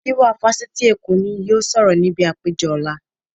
Gíwá Fásitì Èkó ni yóò sọ̀rọ̀ níbi àpérò ọ̀la